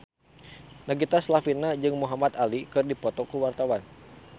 Nagita Slavina jeung Muhamad Ali keur dipoto ku wartawan